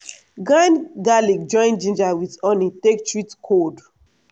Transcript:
grind garlic join ginger with honey take treat cold.